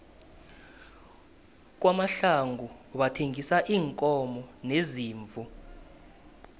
kwamahlangu bathengisa iinkomo neziimvu